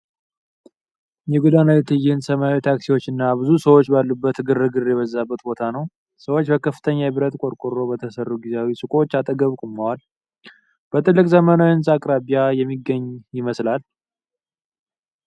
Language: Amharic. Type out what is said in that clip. የጎዳና ላይ ትዕይንት፣ ሰማያዊ ታክሲዎች እና ብዙ ሰዎች ባሉበት ግርግር የበዛበት ቦታ ነው። ሰዎች በከፍተኛ የብረት ቆርቆሮ በተሰሩ ጊዜያዊ ሱቆች አጠገብ ቆመዋል። በትልቅ ዘመናዊ ህንጻ አቅራቢያ የሚገኝ ይመስላል።